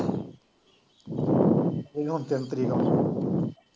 ਤਿੰਨ ਤਰੀਕ